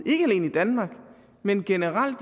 danmark men generelt